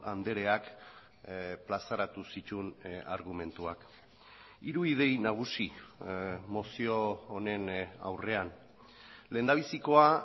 andreak plazaratu zituen argumentuak hiru idei nagusi mozio honen aurrean lehendabizikoa